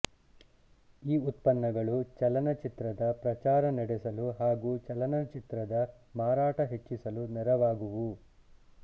ಈ ಉತ್ಪನ್ನಗಳು ಚಲನಚಿತ್ರದ ಪ್ರಚಾರ ನಡೆಸಲು ಹಾಗೂ ಚಲನಚಿತ್ರದ ಮಾರಾಟ ಹೆಚ್ಚಿಸಲು ನೆರವಾಗುವವು